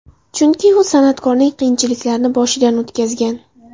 Chunki u san’atkorning qiyinchiliklarini boshidan o‘tkazgan.